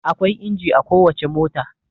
Akwai inji a kowace mota.